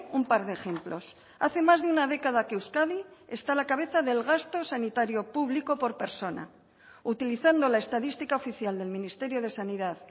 un par de ejemplos hace más de una década que euskadi está a la cabeza del gasto sanitario público por persona utilizando la estadística oficial del ministerio de sanidad